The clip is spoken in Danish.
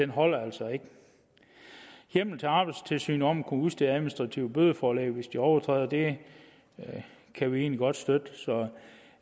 holder altså ikke hjemmel til arbejdstilsynet om at kunne udstede administrative bødeforelæg hvis de overtræder det kan vi egentlig godt støtte så